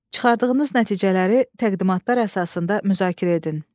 Çıxardığınız nəticələri təqdimatlar əsasında müzakirə edin.